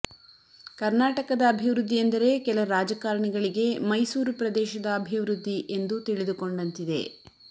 ಕರ್ನಾಟಕದ ಅಭಿವೃದ್ಧಿ ಎಂದರೆ ಕೆಲ ರಾಜಕಾರಣಿಗಳಿಗೆ ಮೈಸೂರು ಪ್ರದೇಶದ ಅಭಿವೃದ್ಧಿ ಎಂದು ತಿಳಿದು ಕೊಂಡಂತಿದೆ